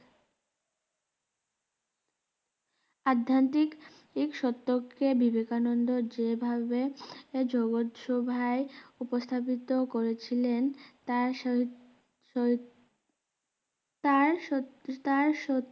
আধ্যান্তিক এই সত্যকে বিবেকানন্দ যে ভাবে জগৎ সভায় উপস্থাপিত করেছিলেন তার সৈত সৈত তার সত তার সত